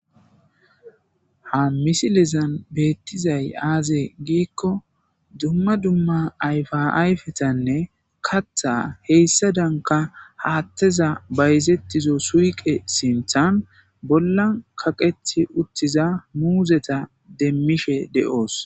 ha misilezan beettizay aazee giikko dumma dumma ayfa ayfetanne katha heyssa danka haatteza bayzettizo suuqe sinthan bolla kaqethi uttiza muuzeta demmishe de7oos